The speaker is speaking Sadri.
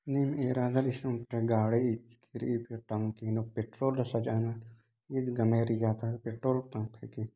निम एरदान एसन ओन्टा गाड़ी इचकी रई टंकी नु पेट्रोल ति सजानार पेट्रोल पंप हेके